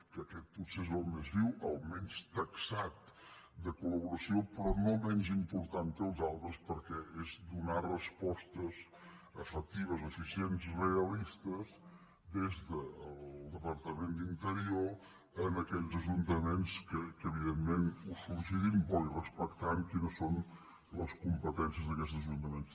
que aquest potser és el més viu el menys taxat de col·rò no menys important que els altres perquè és donar respostes efectives eficients realistes des del departament d’interior a aquells ajuntaments que evidentment ho sol·licitin bo i respectant quines són les competències d’aquests ajuntaments